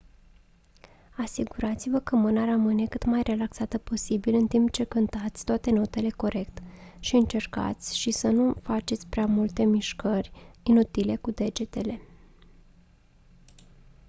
asigurați-vă că mâna rămâne cât mai relaxată posibil în timp ce cântați toate notele corect și încercați și să nu faceți prea multe mișcări inutile cu degetele